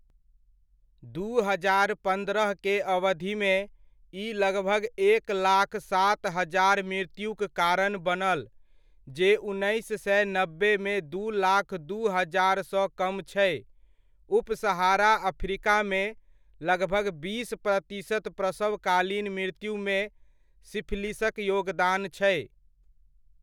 दू हजार पन्द्रह के अवधिमे, ई लगभग एक लाख सात हजार मृत्युक कारण बनल, जे उन्नैस सए नब्बेमे दू लाख दू हजारसँ कम छै। उप सहारा अफ्रीकामे, लगभग बीस प्रतिशत प्रसवकालीन मृत्युमे सिफिलिसक योगदान छै।